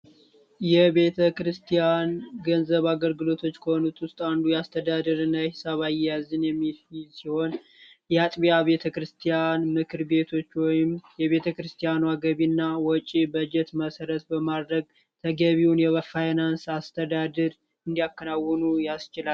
የቤተ ክርስቲያን ገንዘብ አገርግሎቶች ከሆነት ውስጥ አንዱ የአስተዳድር ነይ ሰባይ ያዝን የሚፊሲሆን የአጥቢያ ቤተ ክርስቲያን ምክር ቤቶች ወይም የቤተ ክርስቲያኑ አገቢ እና ወጪ በጀት መሠረት በማድረግ ተገቢውን የበፋይናንስ አስተዳድር እንዲያከናውኑ ያስችላል።